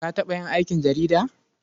Ka taɓa yin aikin jarida?